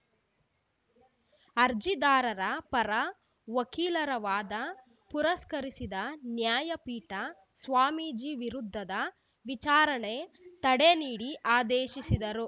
ಅರ್ಜಿದಾರರ ಪರ ವಕೀಲರ ವಾದ ಪುರಸ್ಕರಿಸಿದ ನ್ಯಾಯಪೀಠ ಸ್ವಾಮೀಜಿ ವಿರುದ್ಧದ ವಿಚಾರಣೆ ತಡೆ ನೀಡಿ ಆದೇಶಿಸಿದರು